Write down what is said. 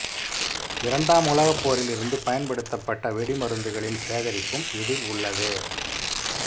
இரண்டாம் உலகப் போரிலிருந்து பயன்படுத்தப்பட்ட வெடிமருந்துகளின் சேகரிப்பும் இதில் உள்ளது